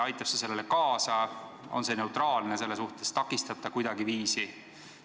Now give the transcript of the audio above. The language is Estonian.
Aitab see sellele kaasa, on see selle suhtes neutraalne, takistab see kuidagiviisi?